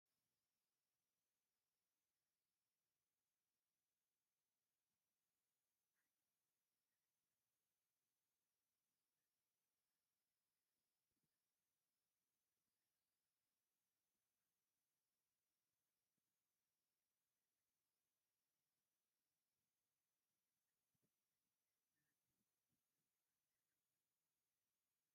እዚ ቀይሕ 3250 ዋት ዝዓይነቱ ጀነሬተር ተተኺሉ ከምዘሎ ዘርኢ እዩ። ኣብ ብሓጺን ዝተሰርሐ መስቀላዊ ኣካል መንበሪ ተዓጽዩ፣ መቆጻጸሪታትን ናይ ሓይሊ መውጽኢ ወደባትን ኣብ ጎድኑ ይርከብ። እቲ መበገሲን መዝሓሊ ሓዊን እውን ንጹር እዩ።